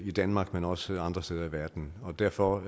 i danmark men også andre steder i verden derfor